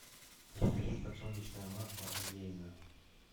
закажи подсолнечное масло олейна